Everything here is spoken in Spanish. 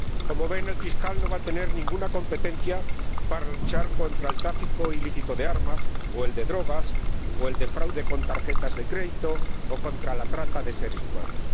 Como ven, el Fiscal no va a tener ninguna competencia para luchar contra el tráfico ilícito de armas o de drogas, o contra el fraude con tarjetas de crédito o la trata de seres humanos.